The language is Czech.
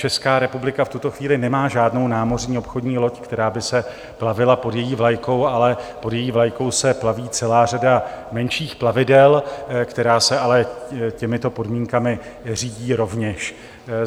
Česká republika v tuto chvíli nemá žádnou námořní obchodní loď, která by se plavila pod její vlajkou, ale pod její vlajkou se plaví celá řada menších plavidel, která se ale těmito podmínkami řídí rovněž.